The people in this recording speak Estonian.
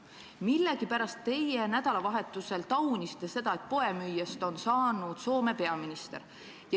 Millegipärast teie nädalavahetusel taunisite seda, et poemüüjast on saanud Soome peaminister.